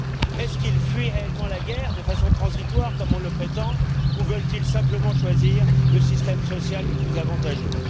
Fuient ils réellement la guerre de façon transitoire comme on le prétend ou veulent ils simplement choisir le système social le plus avantageux?